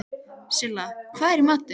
Silla, hvað er í matinn?